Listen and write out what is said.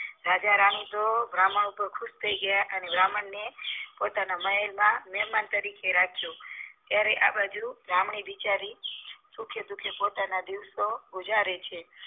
રાજા રાણી તો બ્રાહ્મણ ઉપર ખુશ થઇ ગ્યા અને બ્રાહ્મણ પોતાના મહેલમાં મેહમાન તરીકે રાખ્યો ત્યારે આ બાજુ બિચારી સુખે દુઃખે પોતાના દિવસો ગુજારે છે